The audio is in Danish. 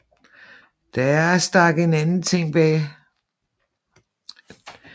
Der stak en anden ting bag